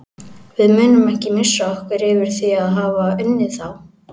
Við munum ekki missa okkur yfir því að hafa unnið þá.